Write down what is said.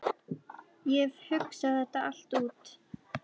Ég hef hugsað þetta allt út.